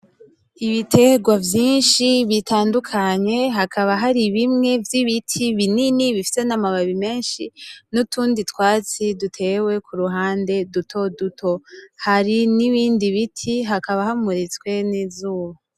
Ibiterwa vyinshi bitandukanye. Hakaba hari bimwe vy'ibiti binini bifise n'amababi menshi. N'utundi twatsi dutewe ku ruhande duto duto. Hari n'ibindi biti, hakaba hamuritswe n'izuba.